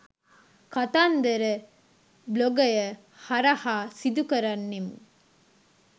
කතන්දර බ්ලොගය හරහා සිදුකරන්නෙමු